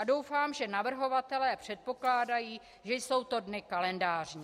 A doufám, že navrhovatelé předpokládají, že jsou to dny kalendářní.